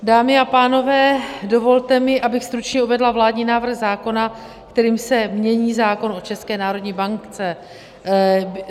Dámy a pánové, dovolte mi, abych stručně uvedla vládní návrh zákona, kterým se mění zákon o České národní bance.